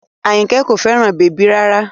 Àyìnkẹ́ kò fẹ́ràn bèbí rárá